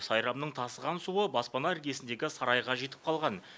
сайрамның тасыған суы баспана іргесіндегі сарайға жетіп қалған